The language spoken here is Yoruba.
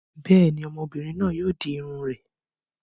Bẹ́ẹ̀ ni, ọmọbìnrin náà yóò di irun rẹ̀.